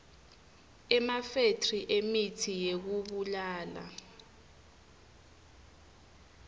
emafethri emitsi yekubulala